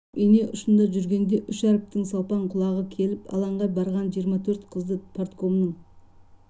ұшып ине ұшында жүргенде үш әріптің салпаң құлағы келіп алаңға барған жиырма төрт қызды парткомның